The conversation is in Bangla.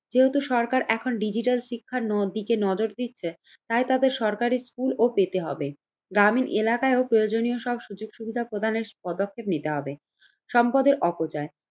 যেহেতু সরকার এখন ডিজিটাল শিক্ষার নদীকে নজর দিচ্ছে তাই তাদের সরকারি স্কুল ও পেতে হবে। গ্রামীন এলাকায় ও প্রয়োজনীয় সব সুযোগ সুবিধা প্রদানের পদক্ষেপ নিতে হবে। সম্পদের অপচয়